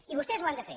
i vostès ho han de fer